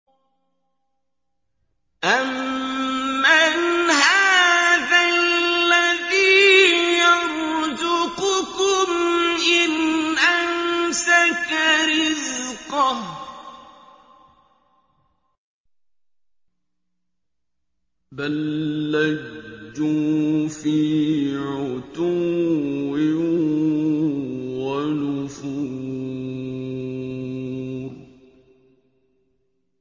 أَمَّنْ هَٰذَا الَّذِي يَرْزُقُكُمْ إِنْ أَمْسَكَ رِزْقَهُ ۚ بَل لَّجُّوا فِي عُتُوٍّ وَنُفُورٍ